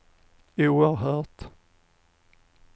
oerhört